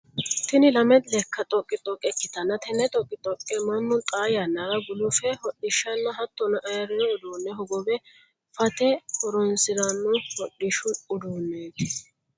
Tinni lame leka xoqixoqe ikitanna tenne xoqixoqe Manu xaa yannara gulufi hodhishanna hattono ayirino uduune hogowe phate horoonsirano hodhishu uduuneeti.